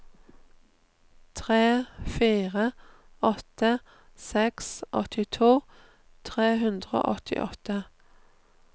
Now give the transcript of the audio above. tre fire åtte seks åttito tre hundre og åttiåtte